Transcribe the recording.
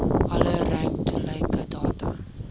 alle ruimtelike data